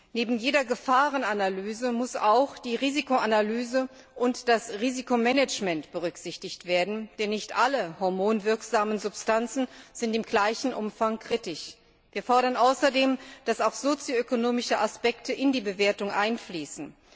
Neben jeder Gefahrenanalyse müssen auch die Risikoanalyse und das Risikomanagement berücksichtigt werden, denn nicht alle hormonwirksamen Substanzen sind im gleichen Umfang kritisch. Wir fordern außerdem, dass auch sozioökonomische Aspekte in die Bewertung einfließen.